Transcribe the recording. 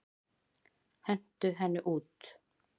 Hentu henni út!